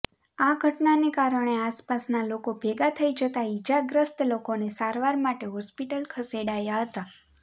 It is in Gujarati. આ ઘટનાને કારણે આસપાસના લોકો ભેગા થઈ જતા ઈજાગ્રસ્ત લોકોને સારવાર માટે હોસ્પીટલ ખસેડાયા હતા